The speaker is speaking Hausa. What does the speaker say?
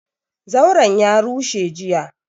Zauran ya rushe jiya,